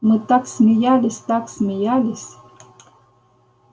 мы так смеялись так смеялись